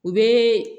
U bɛ